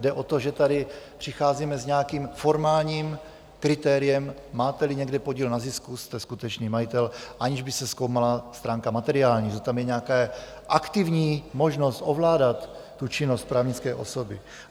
Jde o to, že tady přicházíme s nějakým formálním kritériem, máte-li někde podíl na zisku, jste skutečný majitel, aniž by se zkoumala stránka materiální, že tam je nějaká aktivní možnost ovládat činnost právnické osoby.